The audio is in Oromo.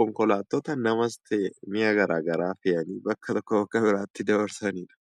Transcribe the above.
konkolaattota namas ta'e mi'a garaagaraa fe'anii bakka tokkoo bakka biraatti dabarsanii dha.